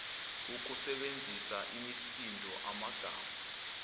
ukusebenzisa imisindo amagama